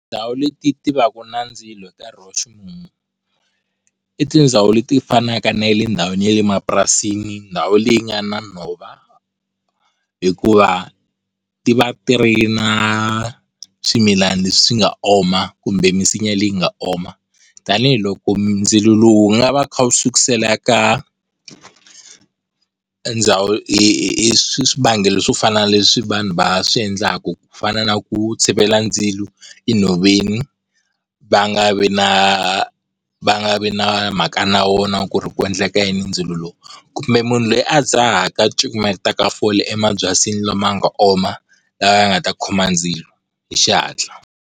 Tindhawu leti ti vaka na ndzilo hi nkarhi wa ximumu, i tindhawu leti fanaka na le ndhawini ya le mapurasini, ndhawu leyi yi nga na nhova hikuva ti va ti ri na swimilani leswi swi nga oma kumbe misinya leyi nga oma, tanihiloko ndzilo lowu wu nga va kha wu sukusela ka ndhawu, swivangelo swo fana na leswi vanhu va swi endlaku, ku fana na ku tshivela ndzilo enhoveni va nga vi na va nga vi na mhaka na wona ku ri ku endleka yini hi ndzilo lowu. Kumbe munhu loyi a dzahaka a cukumetaka fole emabyasini lama nga oma lawa yaa nga ta khoma ndzilo hi xihatla.